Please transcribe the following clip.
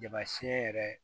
Jama siyɛn yɛrɛ